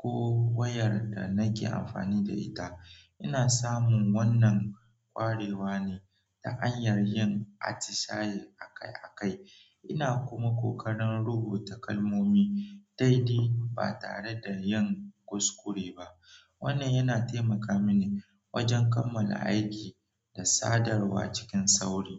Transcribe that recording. ko wayar da nake amfani da ita. Ina samun wannan kwarewa ne ta anyar yin atishaye akai-akai, ina kuma kokarin rubuta kalmomi daidai ba tare da yin kuskure ba. Wannan yana taimaka mini wajen kammala aiki da sadarwa cikin sauri.